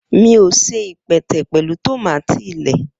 Mi o se ipẹtẹ pẹlu tomati lẹẹ